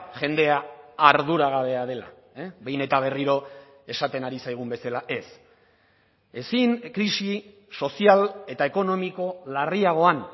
jendea arduragabea dela behin eta berriro esaten ari zaigun bezala ez ezin krisi sozial eta ekonomiko larriagoan